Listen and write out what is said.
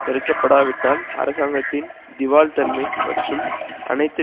தடுக்கப்படாவிட்டால்அரசாங்கத்தின் திவால் தன்மை மற்றும் அனைத்து